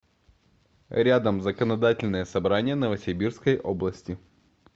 рядом законодательное собрание новосибирской области